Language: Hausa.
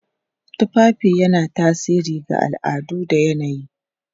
Tufafi yana tasiri ga al'adu da yanayi.